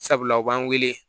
Sabula u b'an wele